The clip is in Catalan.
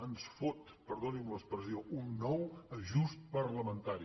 ens fot perdoni’m l’expressió un nou ajust complementari